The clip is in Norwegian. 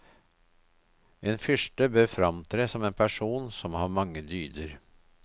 En fyrste bør framtre som en person som har mange dyder.